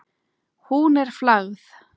Hún er flagð.